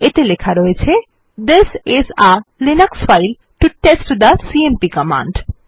এতে লেখা রয়েছে this is a Linux file to test the CMP command